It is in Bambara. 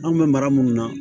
An bɛ mara minnu na